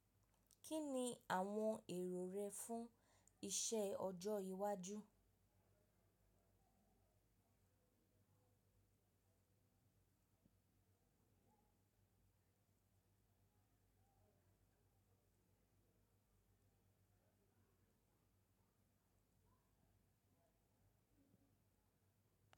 Kí ni àwọn èrò rẹ fún iṣẹ́ ọjọ́ iwájú?